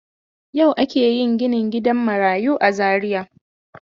Yau ake yin ginin gidan marayu a Zariya.